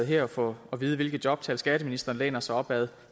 her at få at vide hvilke jobtal skatteministeren læner sig op ad